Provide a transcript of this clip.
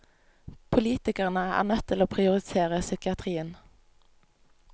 Politikerne er nødt til å prioritere psykiatrien.